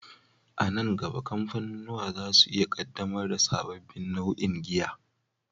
A nan gaba, kamfanunuwa za su iya ƙaddamar da sababbin nau'o'in giya.